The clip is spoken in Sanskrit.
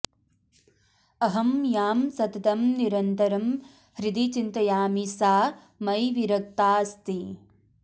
अहं यां सततं निरन्तरं हृदि चिन्तयामि सा मयि विरक्ताऽस्ति